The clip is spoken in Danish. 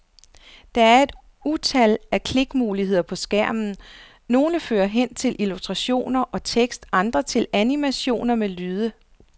Der er et utal af klikmuligheder på skærmen, nogle fører hen til illustrationer og tekst, andre til animationer med lyde.